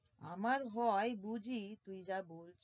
আমার হয় বুঝি